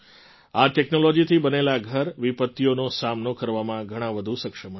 આ ટૅક્નૉલૉજીથી બનેલાં ઘર વિપત્તિઓનો સામનો કરવામાં ઘણા વધુ સક્ષમ હશે